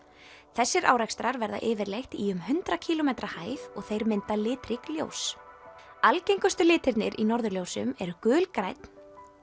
þessir árekstrar verða yfirleitt í um hundrað kílómetra hæð og þeir mynda litrík ljós algengustu litirnir í norðurljósum eru gulgrænn